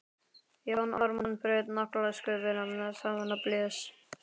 Jón Ármann braut naglasköfuna saman og blés.